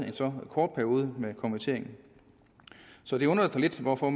en så kort periode med konvertering så det undrer os lidt hvorfor